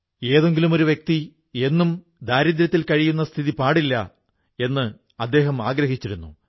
ഏതെങ്കിലുമൊരു വ്യക്തി എന്നും ദാരിദ്ര്യത്തിൽ കഴിയുന്ന സ്ഥിതി പാടില്ല എന്നദ്ദേഹം ആഗ്രഹിച്ചിരുന്നു